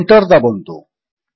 ଓ Enter ଦାବନ୍ତୁ